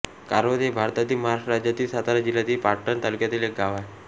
कारवत हे भारतातील महाराष्ट्र राज्यातील सातारा जिल्ह्यातील पाटण तालुक्यातील एक गाव आहे